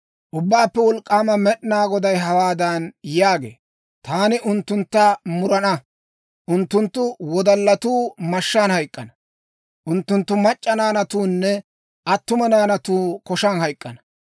Ubbaappe Wolk'k'aama Med'inaa Goday hawaadan yaagee; «Taani unttuntta murana. Unttunttu wodallatuu mashshaan hayk'k'ana; unttunttu mac'c'a naanatuunne attuma naanatuu koshan hayk'k'ana;